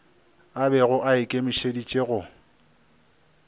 a bego a ikemišeditše go